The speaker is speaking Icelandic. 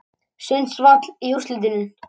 Sundsvall í úrslitin